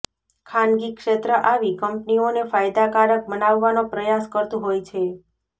ખાનગી ક્ષેત્ર આવી કંપનીઓને ફાયદાકારક બનાવવાનો પ્રયાસ કરતું હોય છે